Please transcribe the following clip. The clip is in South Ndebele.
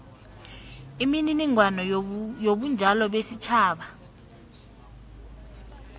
imininingwana yobunjalo besitjhaba